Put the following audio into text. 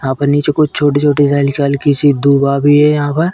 यहाँ पर नीचे कुछ छोटी-छोटी हल्की-हल्की सी दुबा भी है यहाँ पर।